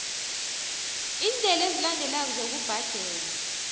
iindlela ezilandelako zokubhadela